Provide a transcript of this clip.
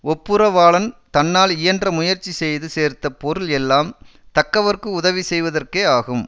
ஒப்புரவாளன் தன்னால் இயன்ற முயற்சி செய்து சேர்த்த பொருள் எல்லாம் தக்கவர்க்கு உதவி செய்வதற்கே ஆகும்